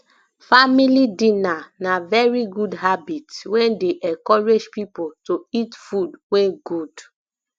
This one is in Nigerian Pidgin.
family dinner na very good habit wey dey encourage pipo to eat food wey good